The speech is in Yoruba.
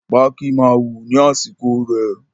Pákí máa wù ní àsìkò rẹ̀